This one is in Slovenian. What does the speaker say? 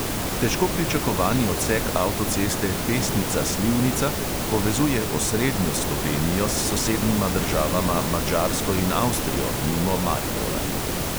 Težko pričakovani odsek avtoceste pesnica-slivnica povezuje osrednjo slovenijo s sosednjima državama madžarsko in avstrijo mimo maribora.